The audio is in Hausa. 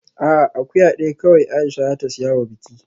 A'a, akuya daya kawai Aisha za ta siya wa biki